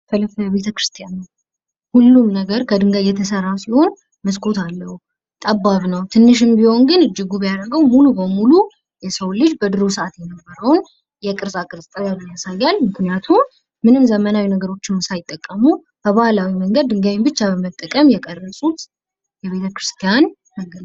ቤተክርስቲያን ነው። ሁሉም ነገር ከድንጋይ የተሠራ ሲሆን፤ መስኮት አለው፣ ጠባብ ነው፣ ትንሽም ቢሆን ግን እጅግ ውብ ያደረገው ሙሉ በሙሉ የሰው ልጅ በድሮ ሰዓት የነበረውን የቅርፃ ቅርፅ ጥበብን ያሳያል። ምክንያቱ ምንም ዘመናዊ ነገሮችንም ሳይጠቀሙ በባህላዊ መንገድ ድንጋይን ብቻ በመጠቀም የቀረጹት የቤተ ክርስቲያን ነገር.